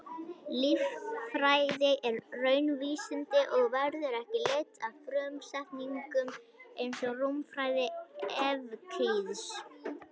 Líffræði er raunvísindi og verður ekki leidd af frumsetningum eins og rúmfræði Evklíðs.